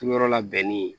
Turuyɔrɔ labɛnni